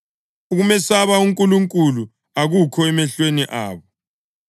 “Ukumesaba uNkulunkulu akukho emehlweni abo.” + 3.18 AmaHubo 36.1